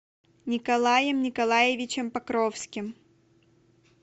николаем николаевичем покровским